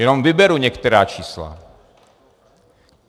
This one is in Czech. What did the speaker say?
Jenom vyberu některá čísla.